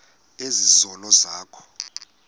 ezi zono zakho